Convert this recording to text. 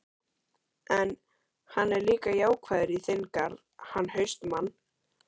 En, hann er líka jákvæður í þinn garð, hann HAustmann.